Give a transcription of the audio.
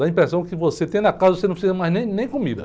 Dá a impressão que você tendo a casa, você não precisa mais nem, nem comida.